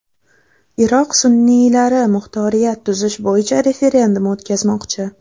Iroq sunniylari muxtoriyat tuzish bo‘yicha referendum o‘tkazmoqchi.